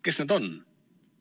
Kes need on?